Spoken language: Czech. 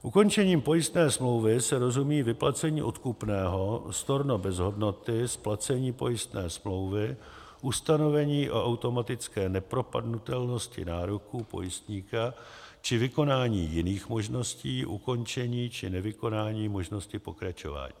Ukončením pojistné smlouvy se rozumí vyplacení odkupného, storno bez hodnoty, splacení pojistné smlouvy, ustanovení o automatické nepropadnutelnosti nároků pojistníka či vykonání jiných možností ukončení či nevykonání možnosti pokračování.